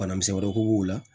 Bana misɛ wɛrɛ k'u b'o la